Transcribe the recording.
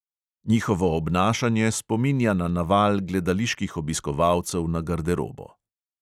Njihovo obnašanje spominja na naval gledaliških obiskovalcev na garderobo.